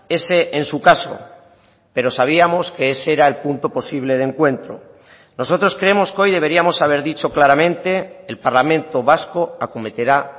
ese en su caso pero sabíamos que ese era el punto posible de encuentro nosotros creemos que hoy deberíamos haber dicho claramente el parlamento vasco acometerá